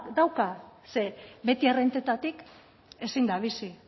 dauka ze beti errentetatik ezin da bizi